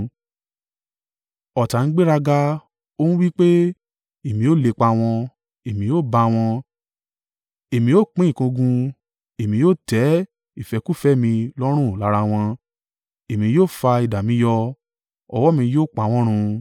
Ọ̀tá ń gbéraga, ó ń wí pé, ‘Èmi ó lépa wọn, èmi ó bá wọn. èmi ó pín ìkógun; èmi ó tẹ́ ìfẹ́kúfẹ̀ẹ́ mi lọ́run lára wọn. Èmi yóò fa idà mi yọ, ọwọ́ mi yóò pa wọ́n run.’